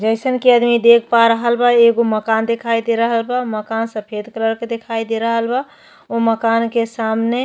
जइसन कि अदमी देख पा रहल बा। एगो मकान दिखाई दे रहल बा। मकान सफ़ेद कलर के दिखाई दे रहल बा। उ मकान के सामने --